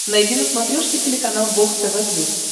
найди на смотрешке телеканал бокс тв плюс